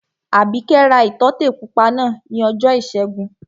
Àbíkẹ́ ra ìtọ́tè pupa náà ní ọjọ́ ìṣẹ́gun